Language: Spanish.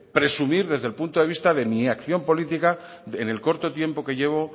presumir desde el punto de vista de mi acción política en el corto tiempo que llevo